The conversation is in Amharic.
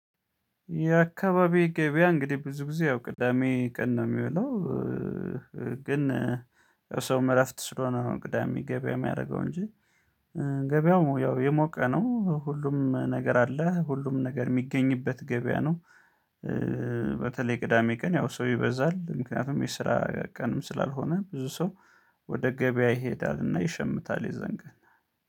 የአካባቢው ገበያ እንግዲህ ብዙ ጊዜ ያው ቅዳሜ ቀን ነው የሚውለው። ግን ሰው ረፍት ስለሆነ ነው ቅዳሜ ገበያ የሚያደርገው እንጂ። ገበያው ያው የሞቀ ነው ሁሉም ነገር አለ ሁሉም ነገር የሚገኝበት ገበያ ነው። በተለይ ቅዳሜ ቀን ያው ሰው ይበዛል ምክንያቱም የስራ ቀንም ስላልሆነ ብዙ ሰው ወደ ገበያ ይሄዳልና ይሸምታል። የዛን ቀን